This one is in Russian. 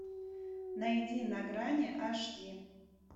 найди на грани аш ди